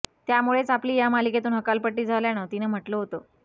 त्यामुळेच आपली या मालिकेतून हकालपट्टी झाल्याचं तिनं म्हटलं होतं